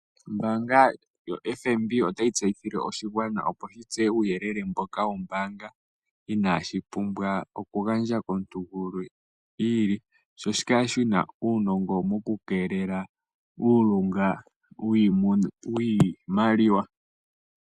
Ombaanga yoFNB otayi tseyithile oshigwana opo shi tseye uuyelele mboka wombaanga inaashi pumbwa okugandja komuntu gumwe iili, sho shi kale shi na uunongo mokukeelela uulunga wiimaliwa.